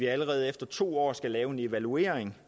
allerede efter to år skal laves en evaluering